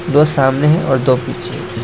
दो सामने हैं और दो पीछे हैं।